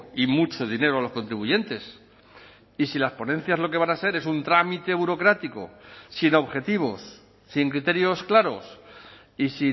y mucho dinero a los contribuyentes y si las ponencias lo que van a ser es un trámite burocrático sin objetivos sin criterios claros y